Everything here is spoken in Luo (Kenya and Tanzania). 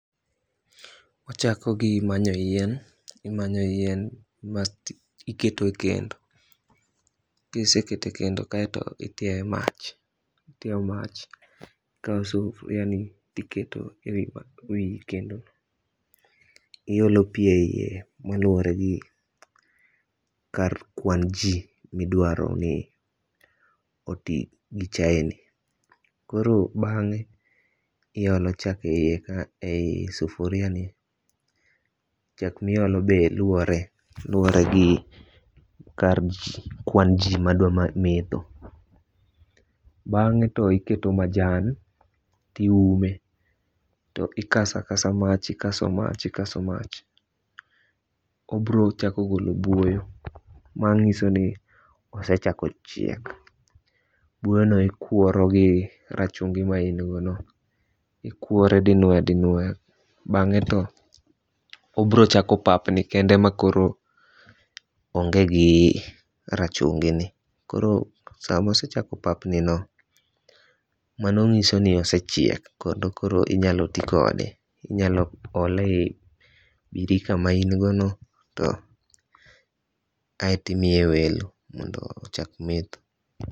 Wachako gi manyo yien. Imanyo yien ma iketo e kendo. Kiseketo e kendo kaeto itiayo mach. Ikaw sufuria ni tiketo e wi kendo no. Iolo pi eyie maluore gi kar kwan ji midwaro ni oti gi chae ni. Koro bang'e iolo chak eyieka eyi sufuriani. Chak miolo be luore gi kar ji kwan ji madwa metho. Bang'e to iketo majan tiume. To ikasakasa mach ikaso mach ikaso mach. Obiro chako golo buoyo manyiso ni osechako chiek. Buoyo no ikworo gi rachungi maingono. Iwore dinuoya dinuoya bang;e to obiro chako papni kende ma koro onge gi rachungi ni. Koro samosechako papni no mano nyiso ni osechiek kendo koro inya ti kode. Inyalo ole e yi birika ma ingono to aito imiye welo mondo ochak metho.